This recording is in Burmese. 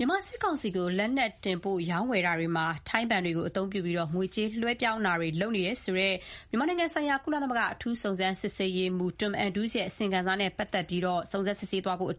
မြန်မာစစ်ကောင်စီကို လက်နက်တင်ပို့ဖို့ ရောင်းဝယ်ရာမှာ ထိုင်းနိုင်ငံက ဘဏ်တွေကို အသုံးပြုပြီး ငွေကြေးလွှဲပြောင်းတာတွေ လုပ်နေတယ်ဆိုတဲ့ မြန်မာနိုင်ငံဆိုင်ရာ ကုလသမဂ္ဂ လူ့အခွင့်အရေးအထူးကိုယ်စားလှယ် Tom Andrews ရဲ့ အစီရင်ခံစာနဲ့ ပတ်သက်ပြီး စုံစမ်းစစ်ဆေးဖို့